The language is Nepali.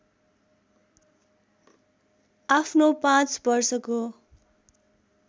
आफ्नो पाँच वर्षको